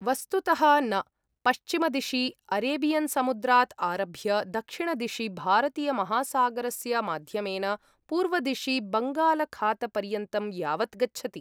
वस्तुतः न, पश्चिमदिशि अरेबियन्समुद्रात् आरभ्य दक्षिणदिशि भारतीयमहासागरस्य माध्यमेन पूर्वदिशि बङ्गालखातपर्यन्तं यावत् गच्छति।